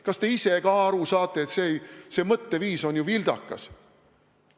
Kas te ise ka aru saate, et see mõtteviis on ju vildakas?